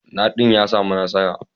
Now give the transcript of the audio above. Nadin ya samu nasara.